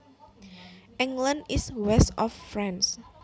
England is west of France